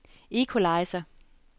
equalizer